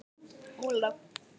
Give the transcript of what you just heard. Olaf